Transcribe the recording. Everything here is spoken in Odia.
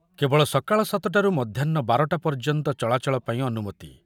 କେବଳ ସକାଳ ସାତଟାରୁ ମଧ୍ୟାହ୍ନ ବାରଟା ପର୍ଯ୍ୟନ୍ତ ଚଳାଚଳ ପାଇଁ ଅନୁମତି ।